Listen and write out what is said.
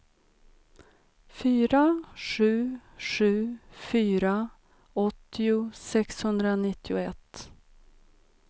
fyra sju sju fyra åttio sexhundranittioett